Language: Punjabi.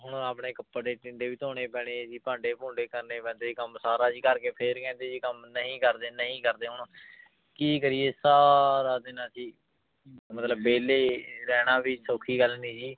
ਹੁਣ ਆਪਣੇ ਕੱਪੜੇ ਟਿੰਡੇ ਵੀ ਧੋਣੇ ਪੈਣੇ ਹੈ ਜੀ ਭਾਂਡੇ ਭੂੰਡੇ ਕਰਨੇ ਪੈਂਦੇ ਜੀ ਕੰਮ ਸਾਰਾ ਜੀ ਕਰਕੇ ਫਿਰ ਕਹਿੰਦੇ ਜੀ ਕੰਮ ਨਹੀਂ ਕਰਦੇ ਨਹੀਂ ਕਰਦੇ ਹੁਣ ਕੀ ਕਰੀਏ ਸਾਰਾ ਦਿਨ ਅਸੀਂ ਮਤਲਬ ਵਿਹਲੇ ਰਹਿਣਾ ਵੀ ਸੌਖੀ ਗੱਲ ਨੀ ਜੀ